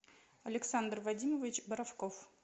александр вадимович боровков